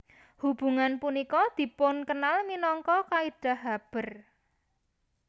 Hubungan punika dipunkenal minangka kaidah Haber